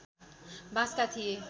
बाँसका थिए